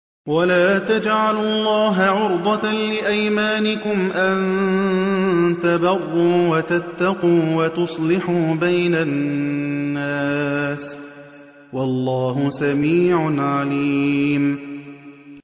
وَلَا تَجْعَلُوا اللَّهَ عُرْضَةً لِّأَيْمَانِكُمْ أَن تَبَرُّوا وَتَتَّقُوا وَتُصْلِحُوا بَيْنَ النَّاسِ ۗ وَاللَّهُ سَمِيعٌ عَلِيمٌ